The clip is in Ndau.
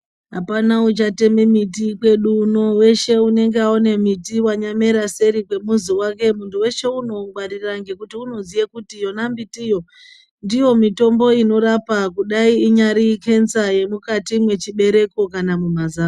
Apana uchatema miti kwedu uno weshe unenge aone miti wanyamera seri kwemizi wake muntu weshe unoungwarira nekuti Anoziva kuti yona miti iyo ndiyo mitombo inorapa kudai inyari kenza yemukati mechibereko kana mumazamo.